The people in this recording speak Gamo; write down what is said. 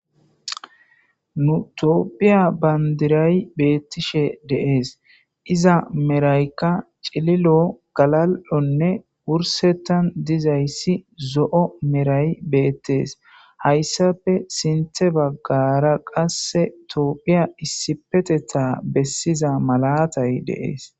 Nu toopphiya bandiray beettishe deees iza meraykka cililo galal'onne wursettan dizayssi zo'o meray beettees hayssafe sinthe baggara qasse toophiya issipeteta bessiza malatay deees.